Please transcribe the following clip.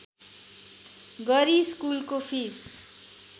गरी स्कुलको फिस